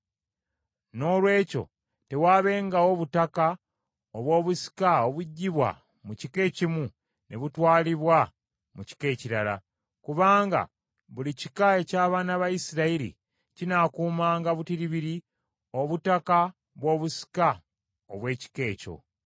Noolwekyo tewaabengawo butaka obw’obusika obuggyibwa mu kika ekimu ne butwalibwa mu kika ekirala; kubanga buli kika eky’abaana ba Isirayiri kinaakuumanga butiribiri obutaka bw’obusika obw’ekika ekyo.”